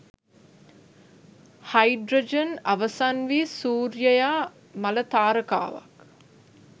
hydrogen අවසන් වී සූර්යයා මළ තාරකාවක්